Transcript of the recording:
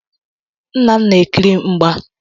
Nna m na-ekiri mgba.